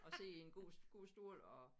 Og sidde i en god god stol og